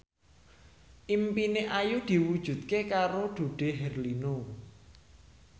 impine Ayu diwujudke karo Dude Herlino